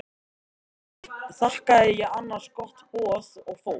Svo þakkaði ég annars gott boð og fór.